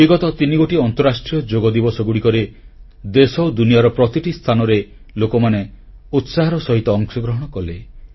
ବିଗତ ତିନିଗୋଟି ଅନ୍ତରାଷ୍ଟ୍ରୀୟ ଯୋଗ ଦିବସରେ ଦେଶ ଓ ଦୁନିଆର ପ୍ରତିଟି ସ୍ଥାନରେ ଲୋକମାନେ ଉତ୍ସାହର ସହିତ ଅଂଶଗ୍ରହଣ କଲେ